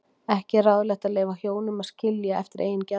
Ekki er ráðlegt að leyfa hjónum að skilja eftir eigin geðþótta.